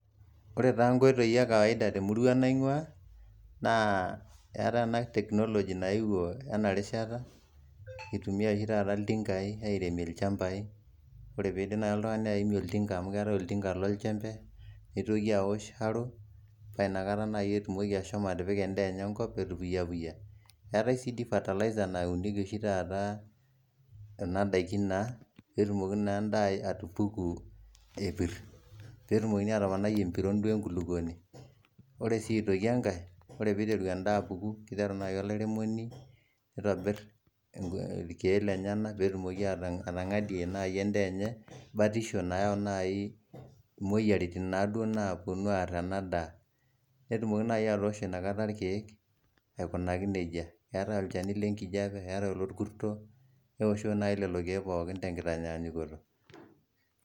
Ore taa inkoitoi e kawaida temurua naingua naa etae ena teknology naewuo ena rishata itumiyai oshi tata iltingai aremie ilchabai ore pidip naji oltungani aimie oltinga amu ketae oltinga lonchembe nitooki aosh aro naa inakataa najii etumoki ashomo atipika endaa enye enkop etupuya puya etae si faterliza nauniki oshi tata kuna daiki naa petumoki naa endaa atupuku epir petumokin naa atoponai empiron enkuluponi duo enkuluponi ore si aitoki enkae ore piteru endaa apuku kiteru naaji olairemoni nitobir ilkek lenyena petumoki atangadie naaji endaa enye batisho nayau naaji imoyiaritin naduo naponu arr ena daa netumoki naaji atoshoo najii ilkek aikunaki neijia ,etae ilkek lenkijape, etae ilokurto keoshi naaji lelo kek pooki tenkitanyanyukoto.